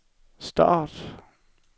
start